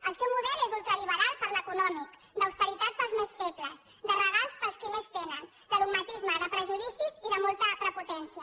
el seu model és ultraliberal per l’econòmic d’austeritat per als més febles de regals per als qui més tenen de dogmatisme de prejudicis i de molta prepotència